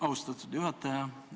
Austatud juhataja!